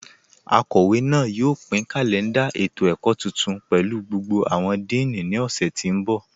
Akọwe náà yóò pin kalẹ̀ndà ètò-ẹ̀kọ̀ tuntun pẹ̀lú gbogbo awọn díìní ni ọ̀ṣẹ̀ tí n bọ.